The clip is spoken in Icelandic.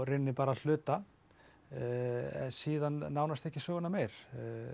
rauninni bara hluta en síðan ekki söguna meir